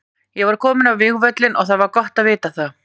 Ég var kominn á vígvöllinn og það var gott að vita það.